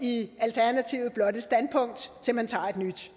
i alternativet blot et standpunkt til man tager et nyt